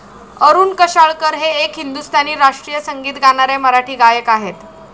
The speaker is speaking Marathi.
अरुण कशाळकर हे एक हिंदुस्थानी राष्ट्रीय संगीत गाणारे मराठी गायक आहेत.